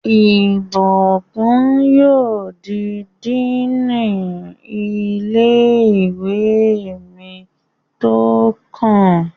Ìbùkún yóò di díìnì ilé-ìwé mi tó kàn